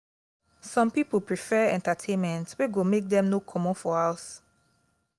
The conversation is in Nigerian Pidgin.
some pipo prefer entertainment wey go make dem no comot for house